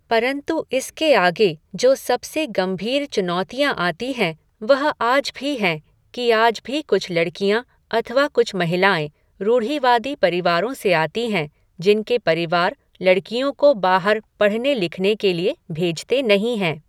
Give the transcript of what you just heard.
परंतु इसके आगे जो सबसे गंभीर चुनौतियाँ आती हैं वह आज भी हैं की आज भी कुछ लड़कियाँ अथवा कुछ महिलाएं रूढ़िवादी परिवारों से आती हैं जिनके परिवार लड़कियों को बाहर पढ़ाने लिखाने के लिए भेजते नहीं है।